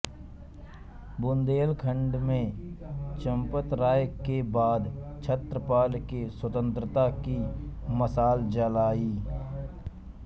बुन्देलखण्ड में चम्पतराय के बाद छत्रसाल ने स्वातन्त्रता की मशाल जलाई